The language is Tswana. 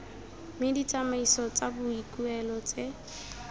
mme ditsamaiso tsa boikuelo tse